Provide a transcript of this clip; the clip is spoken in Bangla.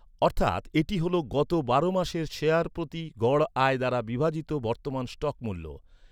অর্থাৎ, এটি হল গত বারো মাসে শেয়ার প্রতি গড় আয় দ্বারা বিভাজিত বর্তমান স্টক মূল্য।